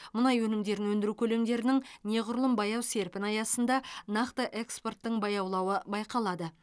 мұнай өнімдерін өндіру көлемдерінің неғұрлым баяу серпіні аясында нақты экспорттың баяулауы байқалады